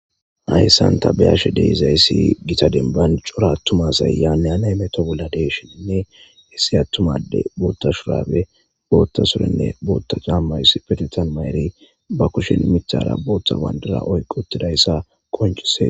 Haysan ta be'ishe dizaysi gita demban c'ora atuma asay yane hane hameto bola de'ishinine issi atuma adey bota Shurabe bota surenne bota c'ana issipetetan mayri ba kushen mitara bota bandiray oykiutidaysa qonc'ses.